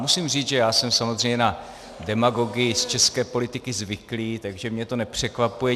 Musím říct, že já jsem samozřejmě na demagogii z české politiky zvyklý, takže mě to nepřekvapuje.